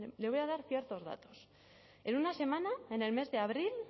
le voy a dar ciertos datos en una semana en el mes de abril